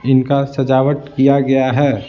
इनका सजावट किया गया है।